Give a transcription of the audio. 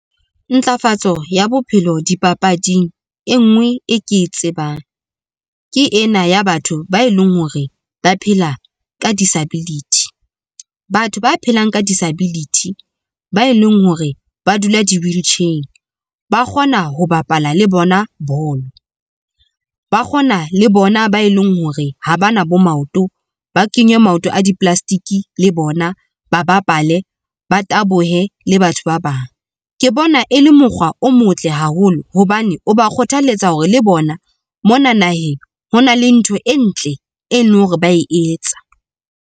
Ntlafatso ya bophelo dipapading enngwe e ke e tsebang ke ena ya batho ba e leng hore ba phela ka disability. Batho ba phelang ka disability ba e leng hore ba dula di-wheelchair, ba kgona ho bapala le bona bolo. Ba kgona le bona ba e leng hore ha bana bo maoto ba kenye maoto a di-plastic le bona, ba bapale ba tabohe le batho ba bang. Ke bona e le mokgwa o motle haholo hobane o ba kgothaletsa hore le bona mona naheng hona le ntho e ntle, e leng hore ba e etsa.